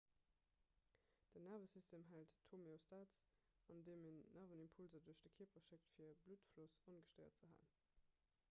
den nervesystem hält d'homeostas andeem en nervenimpulser duerch de kierper schéckt fir de bluttfloss ongestéiert ze halen